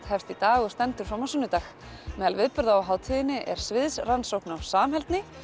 hefst í dag og stendur fram á sunnudag meðal viðburða á hátíðinni er sviðrannsókn á samheldni